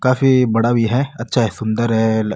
काफी बड़ा भी है अच्छा है सुन्दर है।